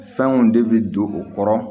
Fɛnw de bi don o kɔrɔ